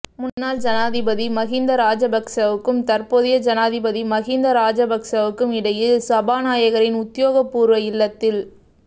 முன்னாள் ஜனாதிபதி மஹிந்த ராஜபக்சவுக்கும் தற்போதைய ஜனாதிபதி மஹிந்த ராஜபக்சவுக்கும் இடையில் சபாநாயகரின் உத்தியோகபூர்வ இல்லத்தில்